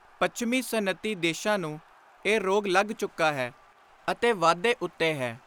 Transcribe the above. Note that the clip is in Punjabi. ਪੱਛਮੀ ਸਨਅਤੀ ਦੇਸ਼ਾਂ ਨੂੰ ਇਹ ਰੋਗ ਲੱਗ ਚੁੱਕਾ ਹੈ ਅਤੇ ਵਾਧੇ ਉੱਤੇ ਹੈ।